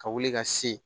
Ka wuli ka se